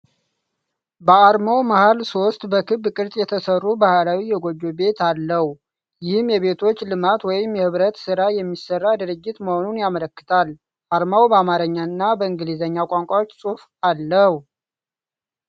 በአርማው መሃል ሦስት በክብ ቅርፅ የተሠሩ ባህላዊ የጎጆ ቤት አለው። ይህም የቤቶች ልማት ወይም የኅብረት ሥራ የሚሠራ ድርጅት መሆኑን ያመለክታል። አርማው በአማርኛና በእንግሊዝኛ ቋንቋዎች ጽሑፍ አለው።